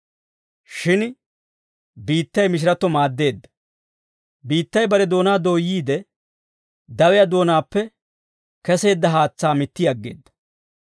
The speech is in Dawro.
Shin biittay mishiratto maaddeedda; biittay bare doonaa dooyyiide, dawiyaa doonaappe keseedda haatsaa mitti aggeedda.